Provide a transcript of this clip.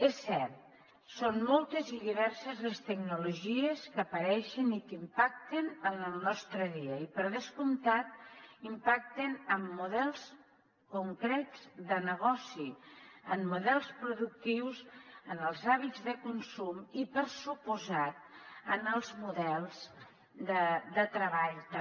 és cert són moltes i diverses les tecnologies que apareixen i que impacten en el nostre dia i per descomptat impacten amb models concrets de negoci en models productius en els hàbits de consum i per descomptat en els models de treball també